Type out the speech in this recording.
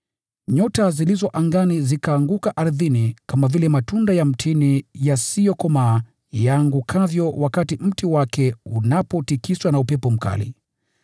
Nyota zilizo angani zikaanguka ardhini kama vile matunda ya mtini yasiyokomaa yaangukavyo wakati mti wake unapotikiswa na upepo mkali.